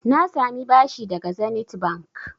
Na sami bashi daga Zenith Bank.